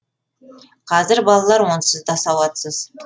қазір балалар онсыз да сауатсыз